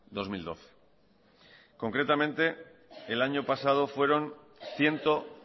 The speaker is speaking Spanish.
dos mil doce concretamente el año pasado fueron ciento